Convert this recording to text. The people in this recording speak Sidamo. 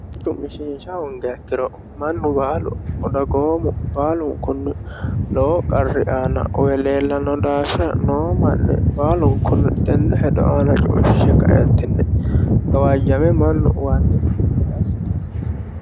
Hedo cu'mishiisha hoongiha ikkiro mannu baalu dagoomu baalunkunni lowo qarri aana uwe leellano daafira lowo manni baalunkunni tene hedo aana tuge kaentinni gawajame mannu uwanokki gede assa hasiisano.